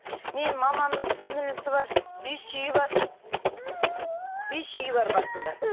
менің мамамның сіңлілісі бар бес үйі бар бес үйі бар басында